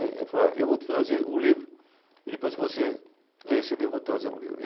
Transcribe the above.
Ele falou, é, eu vou te trazer um livro e depois que você ler esse livro, eu vou te trazer um livro.